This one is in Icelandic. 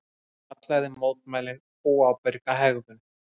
Hann kallaði mótmælin óábyrga hegðun